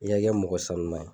I y'a kɛ mɔgɔ sanuma ye.